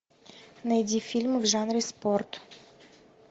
найди фильмы в жанре спорт